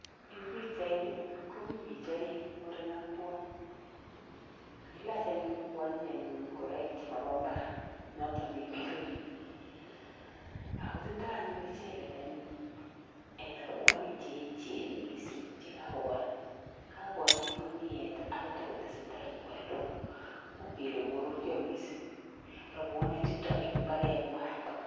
Eng pichaini ni, komi bich aeng muren AK kwony. Kailach anyun kwonyi ingoraik chemabo imbar, notok ne imile bik. Ago tindoi anyun icheket anyun rabuonik cheechen mising chekakobol. Kakonyit kuniet agotestai kobolu. Uu kele korurio mising rabuonichutok eng imbarenywai